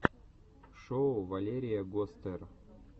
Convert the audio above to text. шоу валерия гостер